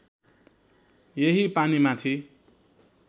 यही पानी माथि